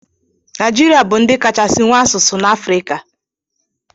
Naijiria bu ndi kachasi nwee asụsụ na afrika.